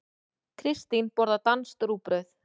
Kristín borðar danskt rúgbrauð.